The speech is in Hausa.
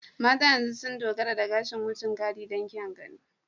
Mata yanzu sun dogara da gashin wucin gadi don kyan gani.